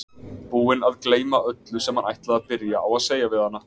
Búinn að gleyma öllu sem hann ætlaði að byrja á að segja við hana.